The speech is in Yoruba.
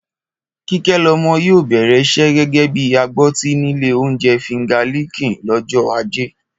Kíkẹ́lọmọ yóò bẹ̀rẹ̀ iṣẹ́ gẹ́gẹ́ bí agbọ́tí nílé oúnjẹ Finger lickin lọ́jọ́ Ajé